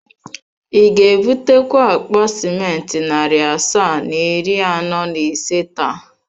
Ị ga-ebutakwa akpa simenti narị asaa na iri anọ na ise taa?